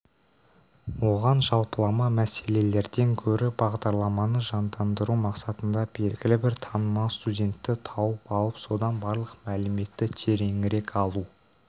оған жалпылама мәселелерден гөрі бағдарламаны жандандыру мақсатында белгілі бір танымал студентті тауып алып содан барлық мәліметті тереңірек алу